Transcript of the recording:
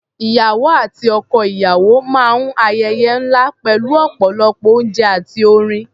Ìyàwó àti ọkọ-ìyàwó máa ń ayẹyẹ ńlá pẹ̀lú ọ̀pọ̀lọpọ̀ oúnjẹ àti orin.